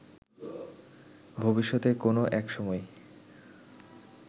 ভবিষ্যতে কোনো একসময়